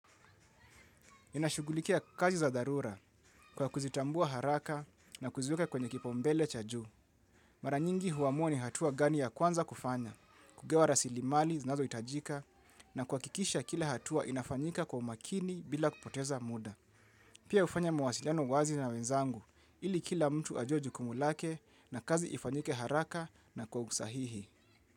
Ninashugulikia kazi za dharura kwa kuzitambua haraka na kuziweka kwenye kipaumbele cha juu. Maranyingi huamuwa ni hatua gani ya kwanza kufanya, kugawa rasli mali zinazo itajika na kuwakikisha kila hatua inafanyika kwa umakini bila kupoteza muda. Pia ufanya mawasiliano wazi na wenzangu ili kila mtu ajue jukumu lake na kazi ifanyike haraka na kwa usahihi.